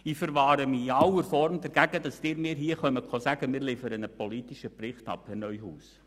Ich verwahre mich in aller Form dagegen, dass Sie hier sagen, wir würden einen politischen Bericht abliefern, Herr Neuhaus.